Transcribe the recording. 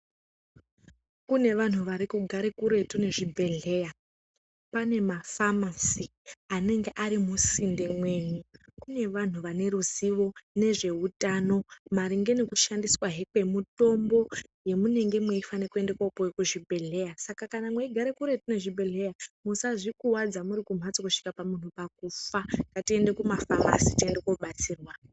Kune vanhu varikugare kuretu ngezvibhedlera ,panemafamasy anenge arimusinde menyu kune vanhu vaneruzivo ngezve hutano, maringe ngekushandiswa kwemitombo yemunenge muifanire kopiwa kuzvibhedleya ,kana mugare kure nezvibhedleya musazvikuadze muri kumhatso kusvika munhu pakufa ngatiende kumafamasi tiende kunodetserwa.